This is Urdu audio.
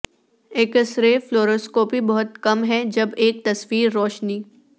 ایکس رے فلوروسکوپی بہت کم ہے جب ایک تصویر روشنی